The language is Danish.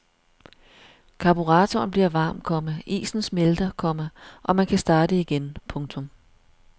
Karburatoren bliver varm, komma isen smelter, komma og man kan starte igen. punktum